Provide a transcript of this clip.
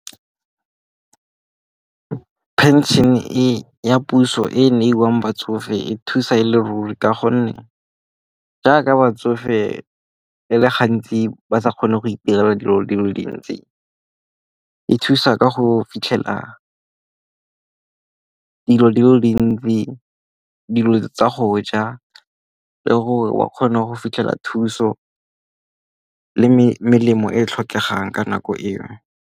Phenšene e ya puso e e neiwang batsofe e thusa e le ruri ka gonne jaaka batsofe e le gantsi ba sa kgone go itirela dilo di le dintsi. E thusa ka go fitlhela dilo di le dintsi dilo tsa go ja le gore o kgone go fitlhela thuso le melemo e e tlhokegang ka nako eo.